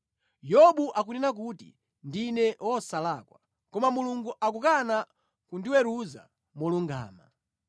“Yobu akunena kuti, ‘Ndine wosalakwa, koma Mulungu akukana kundiweruza molungama.